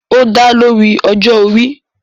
ó dálé orí ọjọ́-orí